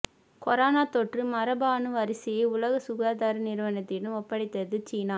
corona தொற்று மரபணு வரிசையை உலக சுகாதார நிறுவனத்திடம் ஒப்படைத்தது சீனா